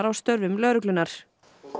á störfum lögreglunnar